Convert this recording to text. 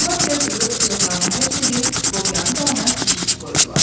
Onlar Hersoqu öz otağına həbs edib, lobyanı da ona kiçikçi qoydular.